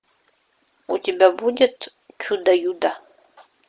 у тебя будет чудо юдо